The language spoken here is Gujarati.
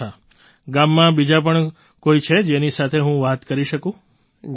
અચ્છા ગામમાં બીજા પણ કોઈ છે જેની સાથે હું વાત કરી શકો છું